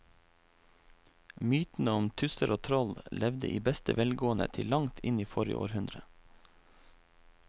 Mytene om tusser og troll levde i beste velgående til langt inn i forrige århundre.